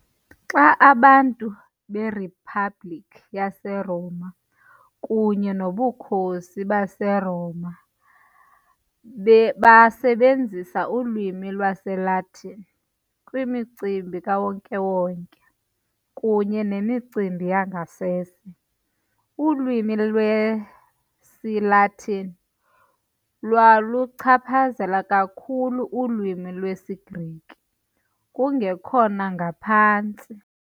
Xa abantu beriphabliki yaseRoma kunye nobukhosi baseRoma basebenzisa ulwimi lwesiLatini kwimicimbi kawonke wonke kunye nemicimbi yangasese, ulwimi lwesiLatini lwaluchaphazela kakhulu ulwimi lwesiGrike, kungekhona ngaphantsi.